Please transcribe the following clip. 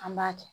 An b'a kɛ